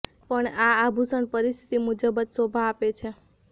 પણ આ આભૂષણ પરિસ્થિતિ મુજબ જ શોભા આપે છે